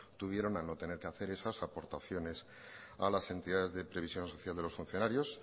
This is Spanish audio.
tuvieron al no tener que hacer esas aportaciones a las entidades de previsión social de los funcionarios